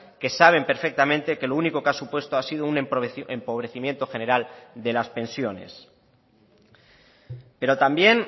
que saben perfectamente que lo único que ha supuesto ha sido un empobrecimiento general de las pensiones pero también